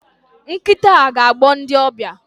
Nkita a ga-agbọ ndị ọbịa